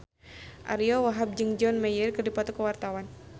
Ariyo Wahab jeung John Mayer keur dipoto ku wartawan